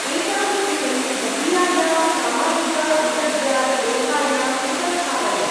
एतां स्थितिं मदीयायां सामाजिक-अन्तर्जाल-लेखायाम् उपस्थापय।